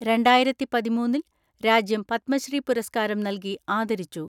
രണ്ടായിരത്തിപതിമൂന്നിൽ രാജ്യം പത്മശ്രീ പുരസ്കാരം നൽകി ആദരിച്ചു.